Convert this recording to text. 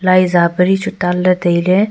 lai za pari chu tanley tailey.